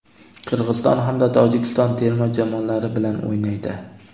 Qirg‘iziston hamda Tojikiston terma jamoalari bilan o‘ynaydi.